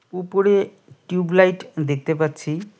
উপরে tube light দেখতে পাচ্ছি।